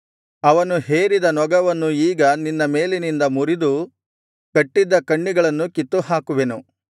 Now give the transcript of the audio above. ಅವನು ಹೇರಿದ ನೊಗವನ್ನು ಈಗ ನಿನ್ನ ಮೇಲಿನಿಂದ ಮುರಿದು ಕಟ್ಟಿದ್ದ ಕಣ್ಣಿಗಳನ್ನು ಕಿತ್ತುಹಾಕುವೆನು